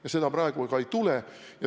Ja seda praegu ka ei tule.